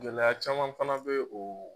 Gɛlɛyaya caman fana bɛ o.